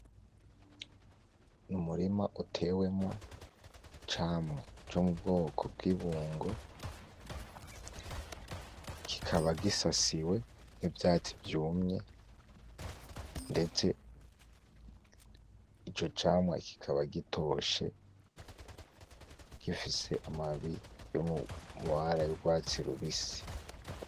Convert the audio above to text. N’Umurima utewemwo Icamwa co mubwoko bw’Ibungo. Kikaba gisasiwe nivyatsi vyumye, ndetse ico camwa kikaba gitoshe, gifise amababi yo mumabara yurwatsi rubisi .